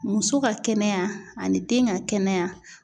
Muso ka kɛnɛya ani den ka kɛnɛya